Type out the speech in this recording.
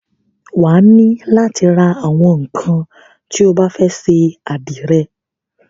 Wà á nílò látí ra àwọn ńnkan tí o bá fẹ́ ṣe àdìrẹ.